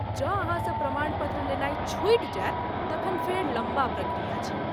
जँ अहाँसँ प्रमाण पत्र लेनाय छूटि जायत तखन फेर लम्बा प्रक्रिया छै।